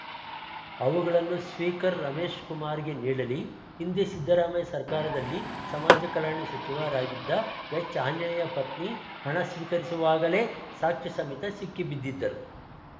ಅವುಗಳನ್ನು ಸ್ವೀಕರ್‌ ರಮೇಶ್‌ಕುಮಾರ್‌ಗೆ ನೀಡಲಿ ಹಿಂದೆ ಸಿದ್ದರಾಮಯ್ಯ ಸರ್ಕಾರದಲ್ಲಿ ಸಮಾಜ ಕಲ್ಯಾಣ ಸಚಿವರಾಗಿದ್ದ ಎಚ್‌ ಆಂಜನೇಯ ಪತ್ನಿ ಹಣ ಸ್ವೀಕರಿಸುವಾಗಲೇ ಸಾಕ್ಷ್ಯ ಸಮೇತ ಸಿಕ್ಕಿ ಬಿದ್ದಿದ್ದರು